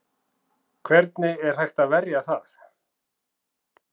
Hvernig er hægt að verja það?